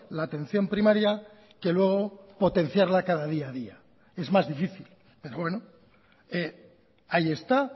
la atención primaria que luego potenciarla cada día a día es más difícil pero bueno ahí está